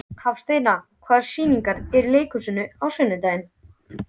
Hafsteina, hvaða sýningar eru í leikhúsinu á sunnudaginn?